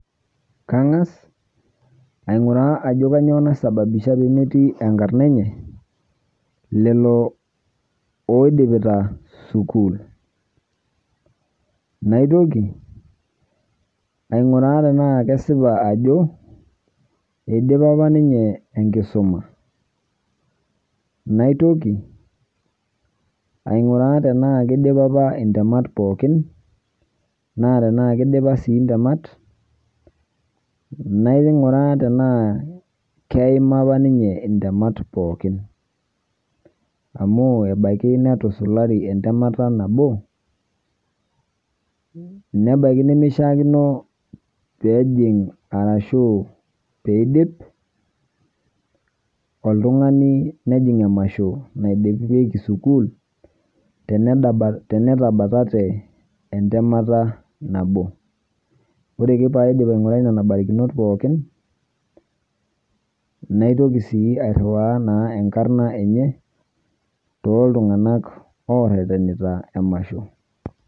Kankas ainkuraa ajo kanyio naisababisha peemetii enkarna enye lelo aidipita sukuul. Naitoki ainkuraa tenaa kesipa ajo eidipa apa ninye inkisuma. Naitoki ainkuraa tenaa kidipa apa intemat pookin, naa tenaa kidipa sii intemat nainkuraa tenaa keima apa ninye intemat pookin, amu ebaiki netusulari entemata nabo, nebaiki nimishaakino peejing arashuu peeidip oltungani nejing emasho naidipikie sukuul tenetabatate entemata nabo. Ore ake pee aidip ainkurai nena barakinot pookin naitoki sii airiwaa sii enkarna enye too tunganak orerenita emasho.